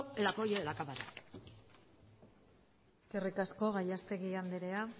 el apoyo de la cámara eskerrik asko gallastegui anderea